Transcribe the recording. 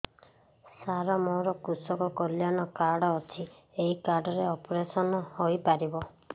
ସାର ମୋର କୃଷକ କଲ୍ୟାଣ କାର୍ଡ ଅଛି ଏହି କାର୍ଡ ରେ ଅପେରସନ ହେଇପାରିବ